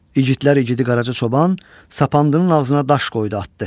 İgidlər igidi Qaraca çoban sapandının ağzına daş qoydu, atdı.